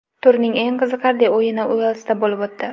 Turning eng qiziqarli o‘yini Uelsda bo‘lib o‘tdi.